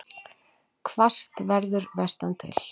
Hvassast verður vestantil